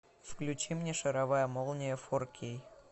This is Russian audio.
включи мне шаровая молния фор кей